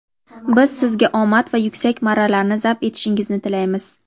Biz sizga omad va yuksak marralarni zabt etishingizni tilaymiz.